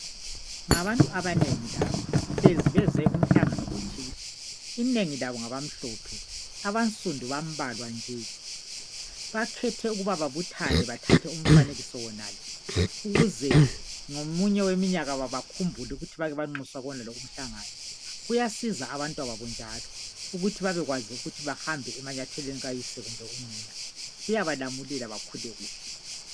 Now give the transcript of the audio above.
Ngabantu abanengi laba hlezi beze emhlanganweni othile. Inengi labo ngabamhlophe abansundu bambalwa nje. Bakhethe ukuba babuthane bathathe umfanekiso wonalo ukuze ngomunye umnyaka bakhumbule ukuthi bake banxuswa kuwonalowo umhlangano lo. Kuyasiza abantwababo njalo ukuthi babekwazi ukuba banyathele emanyatheleni abonina kumbe oyise, kuyabalamulela bakhule kuhle.